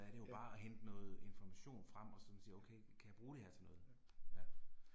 Ja. Ja